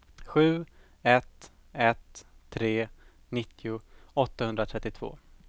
sju ett ett tre nittio åttahundratrettiotvå